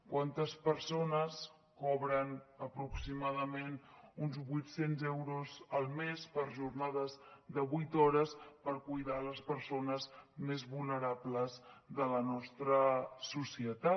quantes persones cobren aproximadament uns vuit cents euros al mes per jornades de vuit hores per cuidar les persones més vulnerables de la nostra societat